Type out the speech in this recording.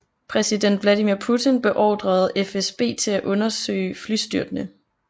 Præsident Vladimir Putin beordrede FSB til at undersøge flystyrtene